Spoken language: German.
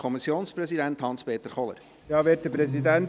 Kommissionpräsident der GSoK.